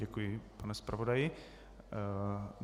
Děkuji panu zpravodaji.